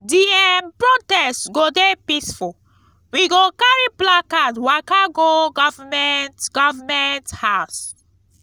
di um protest go dey peaceful we go carry placard waka go government government house.